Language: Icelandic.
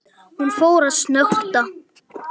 Hún fór að snökta.